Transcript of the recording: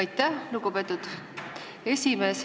Aitäh, lugupeetud esimees!